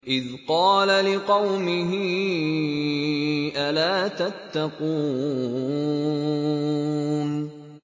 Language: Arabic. إِذْ قَالَ لِقَوْمِهِ أَلَا تَتَّقُونَ